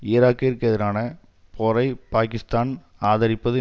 ஈராக்கிற்கு எதிரான போரை பாகிஸ்தான் ஆதரிப்பது